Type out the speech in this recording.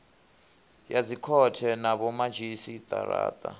ya dzikhothe na vhomadzhisi ara